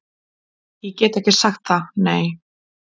Ég get ekki sagt það, nei